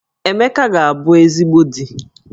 Emeka ga-abu ezigbo di